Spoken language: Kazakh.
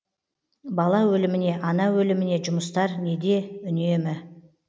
бала өліміне ана өліміне жұмыстар неде үнемі